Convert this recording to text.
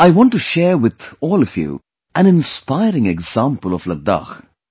I want to share with all of you an inspiring example of Ladakh